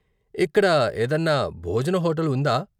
ఇక్కడ ఏదన్నా భోజన హోటల్ వుందా?